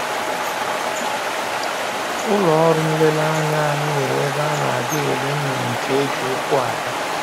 Ụlọ ọrụ nlereanya anyị nwere ebe a na-aga ele nnụnụ nke e ji ụkwụ aga